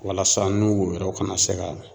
Walasa n'u bu yɛrɛ ka na se ka